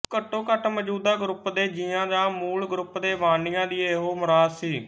ਘੱਟੋਘੱਟ ਮੌਜੂਦਾ ਗਰੁੱਪ ਦੇ ਜੀਆਂ ਜਾਂ ਮੂਲ ਗਰੁੱਪ ਦੇ ਬਾਨੀਆਂ ਦੀ ਇਹੋ ਮੁਰਾਦ ਸੀ